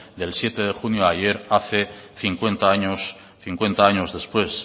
del siete de junio de ayer hace cincuenta años cincuenta años después